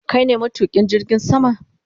Kai ne matukin jirgin sama?